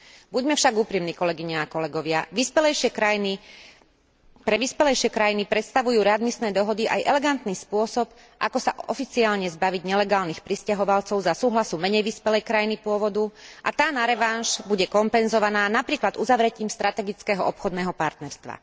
Buďme však úprimní, kolegyne a kolegovia, pre vyspelejšie krajiny predstavujú readmisné dohody aj elegantný spôsob, ako sa oficiálne zbaviť nelegálnych prisťahovalcov za súhlasu menej vyspelej krajiny pôvodu a tá na revanš bude kompenzovaná napríklad uzavretím strategického obchodného partnerstva.